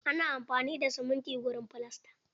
Ana amfani da siminti wurin filasta.